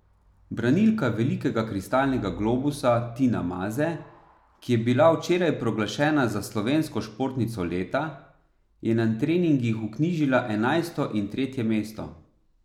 Branilka velikega kristalnega globusa Tina Maze, ki je bila včeraj proglašena za slovensko športnico leta, je na treningih vknjižila enajsto in tretje mesto.